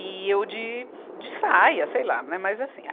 E eu de, de saia, sei lá, né, mas assim.